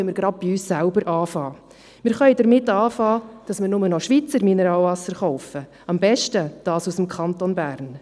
Wir können nämlich bei uns selbst anfangen und nur noch Schweizer Mineralwasser kaufen, am besten aus dem Kanton Bern.